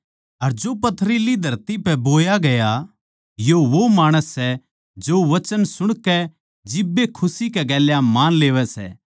अर जो पथरीली धरती पै बोया गया यो वो माणस सै जो वचन सुणकै जिब्बे खुशी कै गेल्या मान लेवै सै